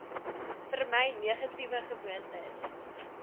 vermy negatiewe gewoontes